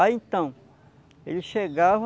Aí então, ele chegava